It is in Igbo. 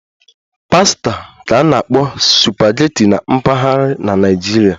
"Pasta ka na-akpọ "supageti"na mpaghara na Naịjirịa